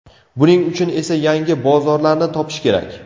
Buning uchun esa yangi bozorlarni topish kerak.